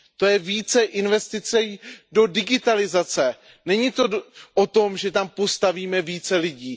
To je více investic do digitalizace, není to o tom, že tam postavíme více lidí.